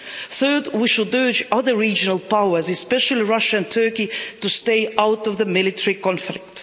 Third, we should urge other regional powers, especially Russia and Turkey, to stay out of the military conflict.